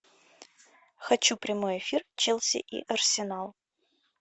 хочу прямой эфир челси и арсенал